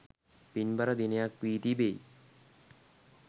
පින්බර දිනයක් වී තිබෙයි.